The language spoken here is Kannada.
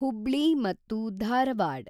ಹುಬ್ಳಿ-ಧಾರವಾಡ್